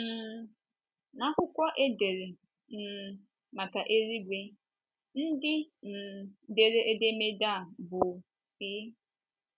um N’akwụkwọ edere um maka eluigwe, ndị um dere edemede a bụ́ C.